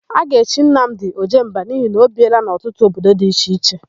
A ga-echi Nnamdị, Ojemba n'ihi na o biela n'ọtụtụ obodo dị iche iche.